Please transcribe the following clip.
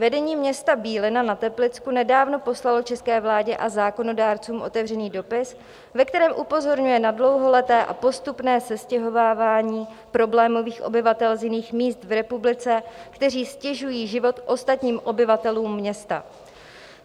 Vedení města Bílina na Teplicku nedávno poslalo české vládě a zákonodárcům otevřený dopis, ve kterém upozorňuje na dlouholeté a postupné sestěhovávání problémových obyvatel z jiných míst v republice, kteří ztěžují život ostatním obyvatelům města.